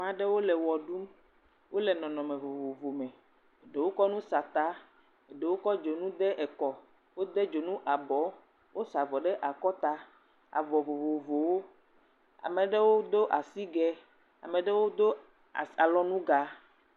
Ame aɖewo le wɔ ɖum. Wo le nɔnɔme vovovo me. Ɖewo kɔ nutata. Ɖewo kɔ dzonu ɖe kɔ wode dzonu abɔ. Wosa avɔ ɖe akɔta. Avɔ vovovowo. Ame aɖewo do asigɛ, ame aɖewo do alɔnuga.